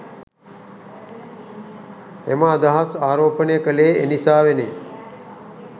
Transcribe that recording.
එම අදහස් ආරෝපණය කළේ එනිසාවෙනි.